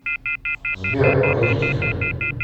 сбер погодите ка